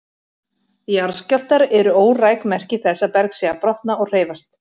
Jarðskjálftar eru óræk merki þess að berg sé að brotna og hreyfast.